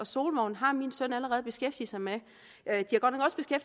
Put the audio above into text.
solvognen har min søn allerede beskæftiget sig med